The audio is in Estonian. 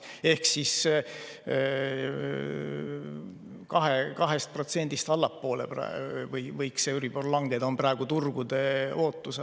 Ehk euribor võiks 2%‑st allapoole langeda, see on praegu turgude ootus.